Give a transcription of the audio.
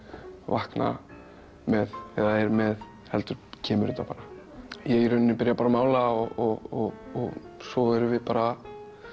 vakna með eða er með heldur kemur þetta bara ég í rauninni byrja bara að mála og svo erum við bara